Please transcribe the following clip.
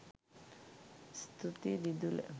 ස්තුතියි දිදුල